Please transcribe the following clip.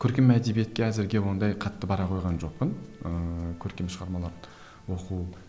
көркем әдебиетке әзірге ондай қатты бара қойған жоқпын ыыы көркем шығармаларды оқу